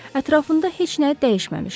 Ətrafında heç nə dəyişməmişdi.